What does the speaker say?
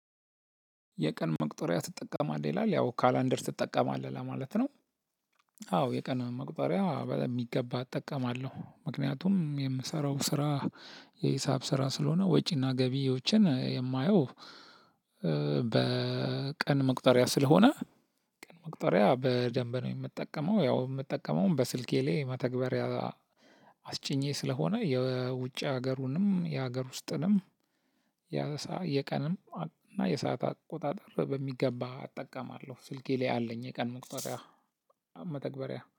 የቀን መቁጠሪያ ትጠቀማለህ ይላል ያው ካላንደር ትጠቀማለህ ለማለት ነው? አዎ የቀን መቅጠሪያ በጣም በሚገባ እጠቀማለሁ ምክንያቱም የምሰራው ስራ የሂሳብ ስራ ስለሆነ ወጪና ገቢዎችን የማየው። በቀን መቁጠሪያ ስለሆነ ቀን መቁጠሪያ በደንብ ነው። እምጠቀመው ያው እምጠቀመውም በስልኬ ላይ መተግበሪያ አስጭኜ ስለሆነ የውጭ ሀገሩንም የሀገር ውስጥንም። የቀንም እና የሰዓት አቆጣጠር በሚገባ እጠቀማለሁ ስልኬ ላይ አለኝ የቀን መቅጠሪያ። መተግበሪያ